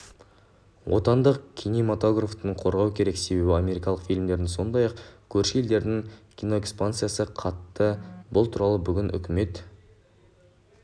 отандық кинематографты қорғау керек себебі америкалық фильмдердің сондай-ақ көрші елдердің киноэкспансиясы қатты бұл туралы бүгін үкімет